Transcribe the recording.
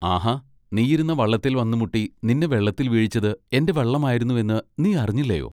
ആഹാ! നീയിരുന്ന വള്ളത്തേൽ വന്നു മുട്ടി നിന്നെ വെള്ളത്തിൽ വീഴിച്ചത് എന്റെ വള്ളം ആയിരുന്നു എന്ന് നീ അറിഞ്ഞില്ലയൊ?